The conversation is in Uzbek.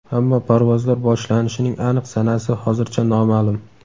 ammo parvozlar boshlanishining aniq sanasi hozircha noma’lum.